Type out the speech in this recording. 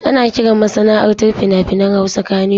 Ana kiran masana'antar fina-finan Hausa Kannywood.